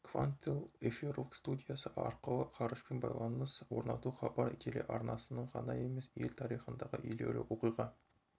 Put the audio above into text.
квантел эфирлік студиясы арқылы ғарышпен байланыс орнату хабар телеарнасының ғана емес ел тарихындағы елеулі оқиға